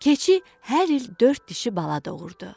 Keçi hər il dörd dişi bala doğurdu.